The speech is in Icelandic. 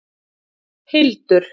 Hildur